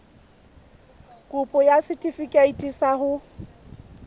kopo ya setefikeiti sa ho